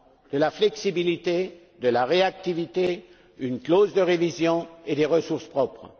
De la flexibilité, de la réactivité, une clause de révision et des ressources propres.